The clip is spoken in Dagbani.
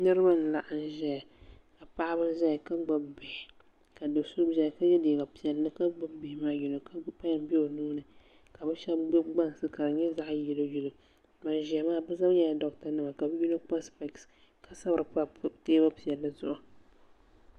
Niriba n laɣim ʒɛya ka paɣaba zaya ka gbibi bihi ka do'so zaya ka ye liiga piɛlli ka gbibi bihi maa yino pen be o nuuni ka bɛ sheba gbibi gbansi ka di nyɛ zaɣa yireyire ka ban ʒia maa bɛ zaa nyɛla doɣata nima yino kpa sipeesi ka sabri teebuli piɛlli zuɣu.